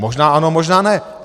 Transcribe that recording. Možná ano, možná ne.